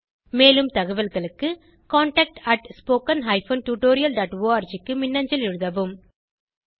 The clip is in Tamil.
மேலும் தகவல்களுக்கு contactspoken tutorialorg க்கு மின்னஞ்சல் எழுதவும்